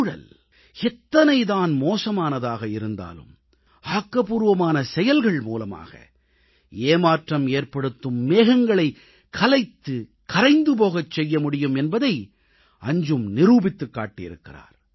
சூழல் எத்தனை தான் மோசமானதாக இருந்தாலும் ஆக்கப்பூர்வமான செயல்கள் மூலமாக ஏமாற்றமேற்படுத்தும் மேகங்களைக் கலைத்துக் கரைந்து போகச் செய்ய முடியும் என்பதை அஞ்ஜும் நிரூபித்துக் காட்டியிருக்கிறார்